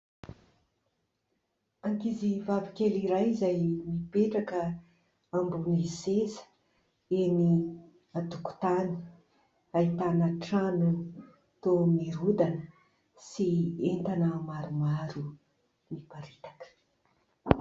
Ankizivavy kely iray izay mipetraka ambony seza eny an-tokotany, ahitana trano toa mirodana sy entana maromaro toa miparitaka.